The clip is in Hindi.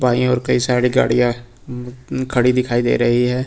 बाईं और कई सारी गाड़ियां खड़ी दिखाई दे रही हैं।